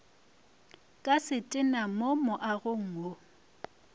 ka setena mo moagong wo